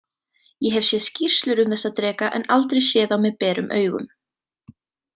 Ég hef séð skýrslur um þessa dreka en aldrei séð þá berum augum